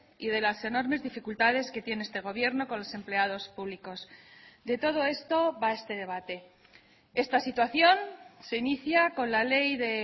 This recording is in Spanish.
y de las enormes dificultades que tiene este gobierno con los empleados públicos de todo esto va este debate esta situación se inicia con la ley de